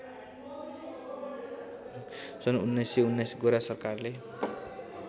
सन् १९१९ गोरा सरकारले